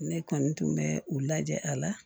Ne kɔni tun bɛ u lajɛ a la